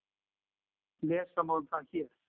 Lesa má um það hér.